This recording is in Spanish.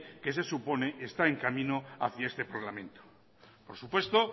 que se supone está en camino hacía este parlamento por supuesto